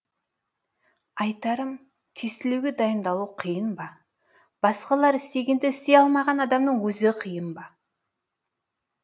айтарым тестілеуге дайындалу қиын ба басқалар істегенді істей алмаған адамның өзі қиын ба